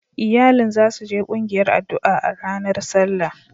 Iyalin za su je kungiyar addu'a a ranar Sallah.